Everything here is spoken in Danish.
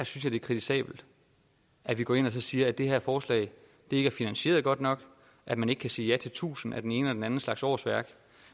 kritisabelt at vi går ind og siger at det her forslag ikke er finansieret godt nok at man ikke kan sige ja til tusinde af den ene og den anden slags årsværk